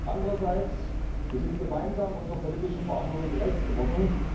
Andererseits sind wir gemeinsam unserer politischen Verantwortung gerecht geworden.